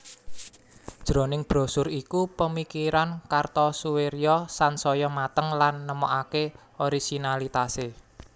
Jroning brosur iku pemikiran Kartosoewirjo sansaya mateng lan nemokake orisinalitase